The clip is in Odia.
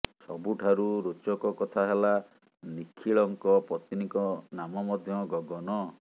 ସବୁଠାରୁ ରୋଚକ କଥା ହେଲା ନିଖିଳଙ୍କ ପତ୍ନୀଙ୍କ ନାମ ମଧ୍ୟ ଗଗନ